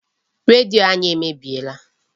Redio anyị emebiela.